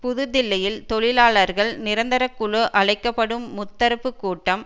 புது தில்லியில் தொழிலாளர்கள் நிரந்தர குழு அழைக்க படும் முத்தரப்பு கூட்டம்